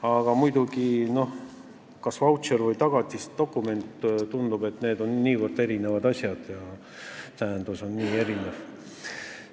Aga muidugi tundub, et vautšer ja tagatisdokument on niivõrd erinevad asjad ja nende tähendus on erinev.